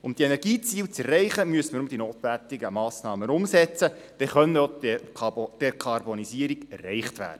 Um die Energieziele zu erreichen, müsse man nur die notwendigen Massnahmen umsetzen, denn so könne die Dekarbonisierung erreicht werden.